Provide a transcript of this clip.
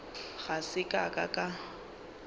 ga se ka ka ka